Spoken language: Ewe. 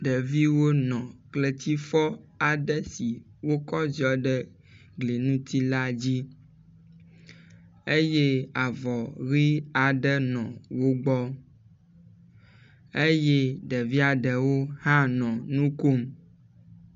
Ɖeviwo nɔ kletsifɔ aɖe si wokɔ ziɔ ɖe gli ŋu ti la dzi eye avɔ ʋi aɖe nɔ wo gbɔ eye ɖevia ɖewo hã nɔ nu kom.